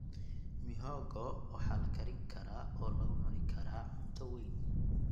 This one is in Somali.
Mihogo waxaa la karin karaa oo lagu cuni karaa cunto weyn.